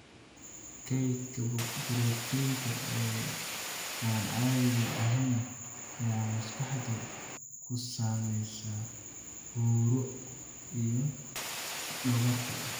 Kaydka borotiinka ee aan caadiga ahayn ayaa maskaxda ku samaysma huuro iyo dhogorta.